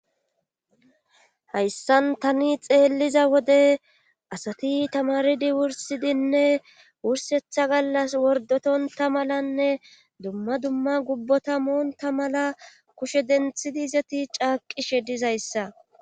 hayssan tani xeelliza wode asati tamaridi wursidinne wursetha gallas wordotonta malanne dumma dumma gubbotamonta mala kushe denthidi izeti caaqishe dizaysa